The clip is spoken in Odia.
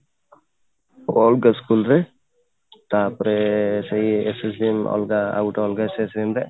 ଅଲଗା school ରେ ତାପରେ ସେଇ SSVM ର ଅଲଗା ଆଉ ଗୋଟେ ଅଲଗା section ରେ